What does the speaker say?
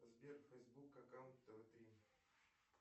сбер фейсбук аккаунт тв три